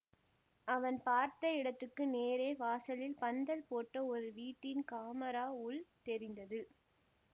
அவன் பார்த்த இடத்துக்கு நேரே வாசலில் பந்தல் போட்ட ஒரு வீட்டின் காமரா உள் தெரிந்தது